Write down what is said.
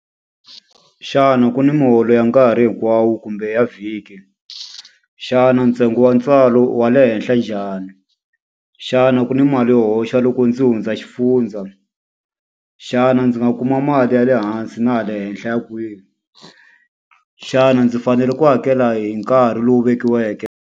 Xana ku ni miholo ya nkarhi hinkwawo kumbe ya vhiki? Xana ntsengo wa ntswalo i wa le henhla njhani? Xana ku ni mali yo hoxa loko ku ndzi hundza xifundza? Xana ndzi nga kuma mali ya le hansi na ya le henhla ya kwihi? Xana ndzi fanele ku hakela hi nkarhi lowu vekiweke?